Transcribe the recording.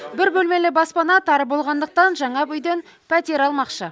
бір бөлмелі баспана тар болғандықтан жаңа бұ үйден пәтер алмақшы